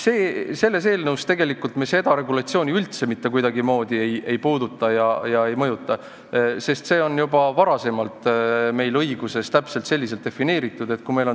Selles eelnõus me seda regulatsiooni üldse kuidagimoodi ei puuduta ega mõjuta, sest see on juba varem õiguses täpselt selliselt defineeritud.